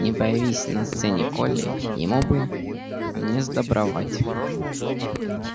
не появись на сцене колли ему бы несдобровать